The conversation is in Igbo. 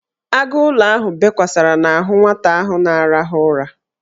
Agụụlọ ahụ bekwasara n'ahụ nwata ahụ na-arahụ ụra.